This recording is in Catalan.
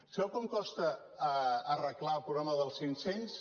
sap quant costa arreglar el problema dels cinc cents